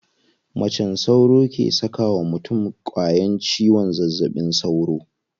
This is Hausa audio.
Macen sauro ke saka wa mutum ƙwayan ciwon zazzaɓin sauro.